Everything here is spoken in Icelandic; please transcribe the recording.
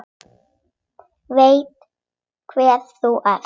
Veit hver þú ert.